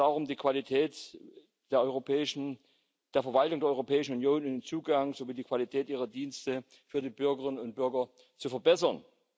Es geht ja darum, die Qualität der Verwaltung der Europäischen Union und den Zugang sowie die Qualität ihrer Dienste für die Bürgerinnen und Bürger zu verbessern.